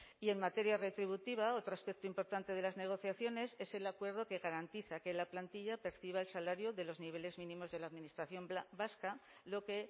y en materia retributiva otro aspecto importante de las negociaciones es el acuerdo que garantiza que la plantilla perciba el salario de los niveles mínimos de la administración vasca lo que